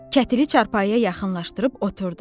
Kətili çarpayıya yaxınlaşdırıb oturdu.